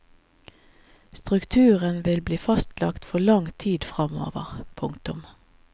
Strukturen vil bli fastlagt for lang tid framover. punktum